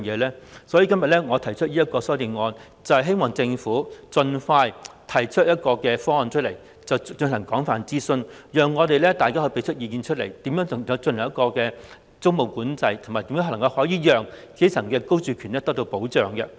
因此，我今天提出這項修正案，希望政府盡快提出方案，並進行廣泛諮詢，讓大家就如何進行租務管制，以及如何保障基層市民的居住權發表意見。